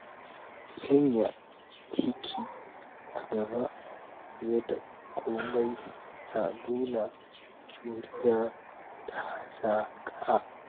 Sanya aiki a gaba fiye da komai na nuna juriya da hazaƙa.